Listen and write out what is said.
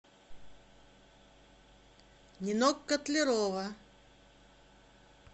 нинок котлярова